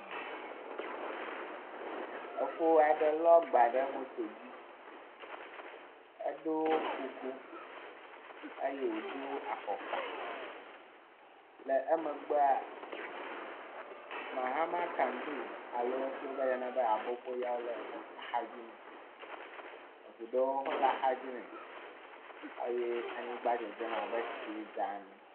Efo aɖe lɔ agba ɖe moto dzi eɖo kuku eye wòdo afɔkpa le emegbea Mahamakandu si wogayana be aboboya le axa dzi nɛ, anyigba wɔ abe tsie dza ene.